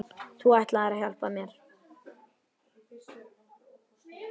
Þú ætlaðir að hjálpa mér.